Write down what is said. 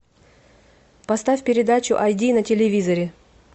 поставь передачу ай ди на телевизоре